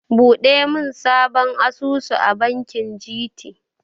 Buɗe sabon asusu a bankin GT.